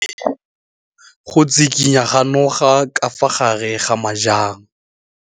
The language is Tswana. O bone go tshikinya ga noga ka fa gare ga majang.